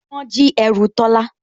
Wọ́n jí ẹrù Tọ́lá